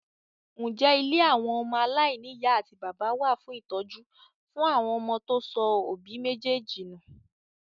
Ǹjẹ́ ilé àwọn ọmọ aláìní ìyá àti bàbá wà fún ìtọ́jú fún àwọn ọmọ tó sọ òbí méjèèjì nù?